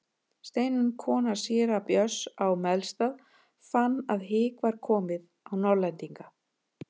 Steinunn kona síra Björns á Melstað fann að hik var komið á Norðlendinga.